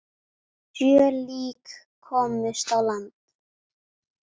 Sjö lík komust á land.